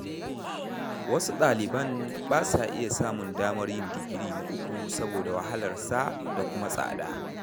Wasu ɗaliban ba sa iya samun damar yin digiri na uku saboda wahalarsa da kuma tsada.